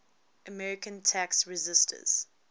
american tax resisters